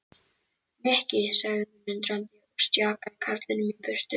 Nikki sagði hún undrandi og stjakaði karlinum í burtu.